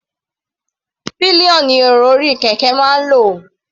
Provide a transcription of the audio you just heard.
Pillion ni èrò orí kẹ̀kẹ́ máa ń lò.